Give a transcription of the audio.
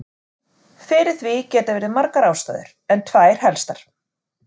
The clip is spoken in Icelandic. Fyrir því geta verið margar ástæður en tvær helstar.